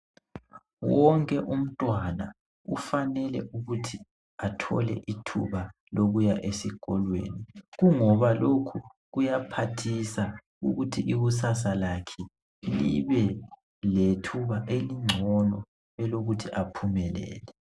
Wonke umntwana ufanele ukuthi athole ithuba lokuya esikolweni kungoba lokhu kuyaphathisa ukuthi ikusasa lakhe libe lethuba elingcono elokuthi aphumelele.